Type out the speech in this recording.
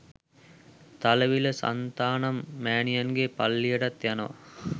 තලවිල සන්තානම් මෑණියන්ගේ පල්ලියටත් යනවා.